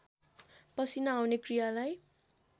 पसिना आउने क्रियालाई